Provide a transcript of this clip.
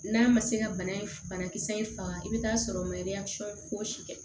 N'a ma se ka bana in banakisɛ in faga i bɛ taa sɔrɔ maliyɔsɔ fosi kɛ